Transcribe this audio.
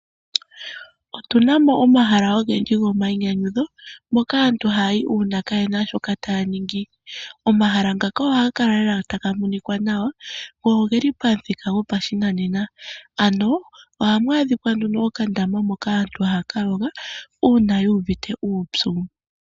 Otunamo omahala ogendji go mayinyanyudho moka aantu haya yi uuna yaana shoka taya ningi. Omahala ngaka ohaga kala lela taga monika nawa, go ogeli pamuthika go pashinanena, ano ohamu adhika nduno okandama moka aantu haya ka yoga, uuna yu uvite uupyu.